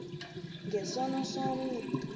nge sono somnye